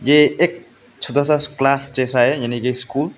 ये एक छोटा सा क्लास जैसा है यानी की स्कूल ।